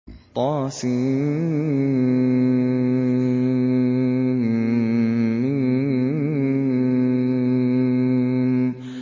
طسم